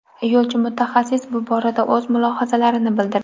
Yo‘lchi-mutaxassis bu borada o‘z mulohazalarini bildirdi .